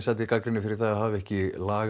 fékk gagnrýni fyrir að hafa ekki lagað